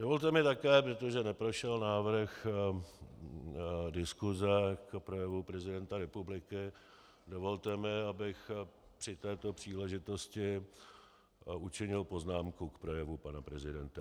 Dovolte mi také, protože neprošel návrh diskuse k projevu prezidenta republiky, dovolte mi, abych při této příležitosti učinil poznámku k projevu pana prezidenta.